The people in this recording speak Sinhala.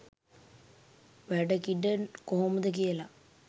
වැඩ කිඩ කොහොමද කියලා.